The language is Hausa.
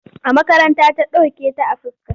A makaranta ta doke ta a fuska.